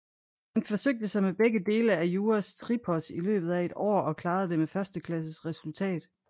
Han forsøgte sig med begge dele af jura tripos i løbet af et år og klarede det med førsteklasses resultat